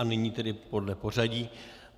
A nyní tedy podle pořadí.